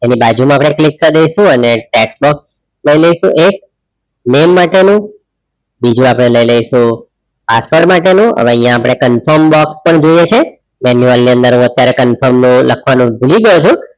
એની બાજુ માં આપડે click કરીશુ અને text box લઇ લઈશુ એક name માટેનું બીજું આપણે લઇ લઈશુ password માટે નું હવે અહિયાં આપણે confirm box પણ જોઈએ છે માનુએલ ની અંદર હું અત્યારે confirm લખવાનું ભૂલી જાઉં છું